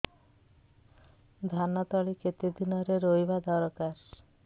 ଧାନ ତଳି କେତେ ଦିନରେ ରୋଈବା ଦରକାର